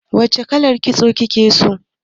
Wace kalar. kitso kike so?